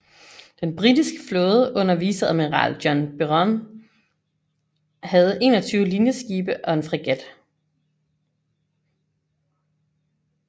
Den britiske flåde under viceadmiral John Byron havde 21 linjeskibe og en fregat